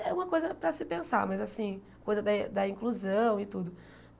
É uma coisa para se pensar, mas assim, coisa da da inclusão e tudo.